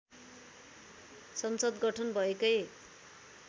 संसद गठन भएकै